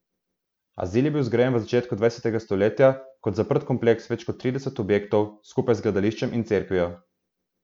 Azil je bil zgrajen v začetku dvajsetega stoletja kot zaprt kompleks več kot tridesetih objektov, skupaj z gledališčem in cerkvijo.